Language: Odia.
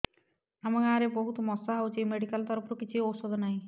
ଆମ ଗାଁ ରେ ବହୁତ ମଶା ହଉଚି ମେଡିକାଲ ତରଫରୁ କିଛି ଔଷଧ ନାହିଁ